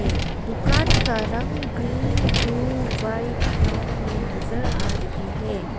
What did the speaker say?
ये दुकान का रंग ग्रीन ब्लू व्हाइट ब्राउन में नजर आ रही है।